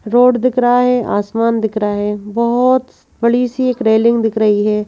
Road दिख रहा है आसमान दिख रहा है बहुत बड़ी सी एक रेलिंग दिख रही हैं।